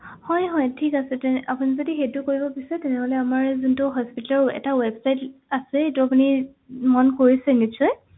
হয় হয় ঠিক আছে তেনে আপুনি যদি সেইটো কৰিব বিছাৰে তেনেহলে আমাৰ যোনটো hospital ৰ এটা website আছে সেইটো আপুনি মন কৰিছে নিশ্চয়